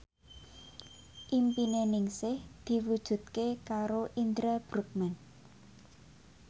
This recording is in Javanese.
impine Ningsih diwujudke karo Indra Bruggman